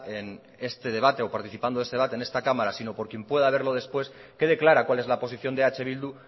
en este debate o participando en este debate en esta cámara sino por quien pueda verlo después quede clara cuál es la posición de eh bildu